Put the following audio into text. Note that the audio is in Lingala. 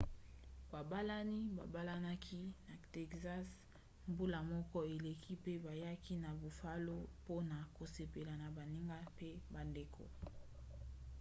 babalani babalanaki na texas mbula moko eleki pe bayaki na buffalo mpona kosepela na baninga mpe bandeko